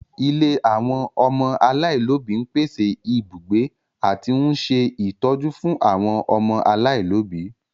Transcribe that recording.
Ilé àwọn ọmọ aláìlóbi ń pèsè ibùgbé àti ń ṣe ìtọ́jú fún àwọn ọmọ aláìlóbi